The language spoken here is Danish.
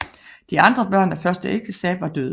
De andre børn af første ægteskab var døde